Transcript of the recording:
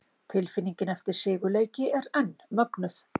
Tilfinningin eftir sigurleiki er enn mögnuð!